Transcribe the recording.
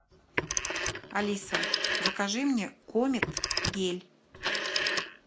алиса закажи мне комет гель